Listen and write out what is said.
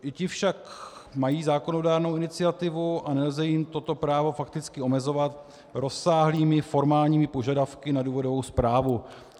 I ti však mají zákonodárnou iniciativu a nelze jim toto právo fakticky omezovat rozsáhlými formálními požadavky na důvodovou zprávu.